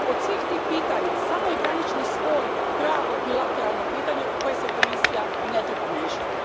Od svih tih pitanja samo je granični spor pravo bilateralno pitanje u koje se Komisija i ne treba miješati.